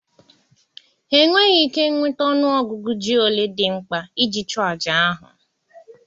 Ha enweghị ike nweta ọnụ ọgụgụ ji ole dị mkpa iji chụọ àjà ahụ